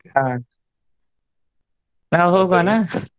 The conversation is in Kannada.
ಹ ನಾವ್ ಹೋಗೋನ?